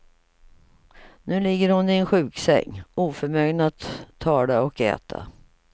Nu ligger hon i en sjuksäng, oförmögen att tala och äta.